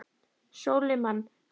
Sólimann, hvað er í matinn?